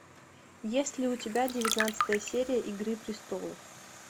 есть ли у тебя девятнадцатая серия игры престолов